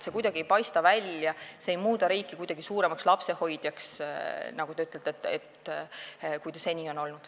See ei muuda riiki kuidagi suuremaks lapsehoidjaks, nagu te ütlesite, kui ta seni on olnud.